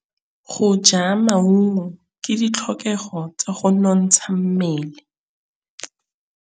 Go ja maungo ke ditlhokegô tsa go nontsha mmele.